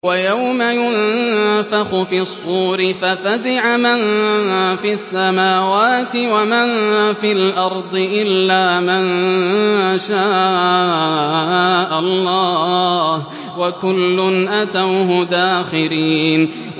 وَيَوْمَ يُنفَخُ فِي الصُّورِ فَفَزِعَ مَن فِي السَّمَاوَاتِ وَمَن فِي الْأَرْضِ إِلَّا مَن شَاءَ اللَّهُ ۚ وَكُلٌّ أَتَوْهُ دَاخِرِينَ